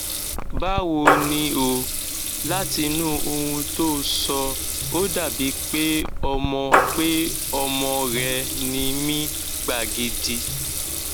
báwo ni o látinú ohun tó o sọ ó dàbíi pé ọmọ pé ọmọ rẹ ń mí gbagidi